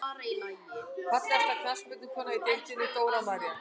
Fallegasta knattspyrnukonan í deildinni: Dóra María.